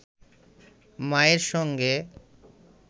মায়ের সঙ্গে